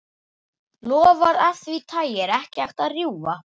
Loforð af því tagi er ekki hægt að rjúfa.